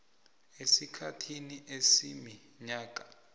esikhathini esiminyaka emi